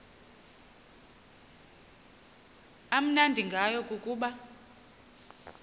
amnandi ngayo kukuba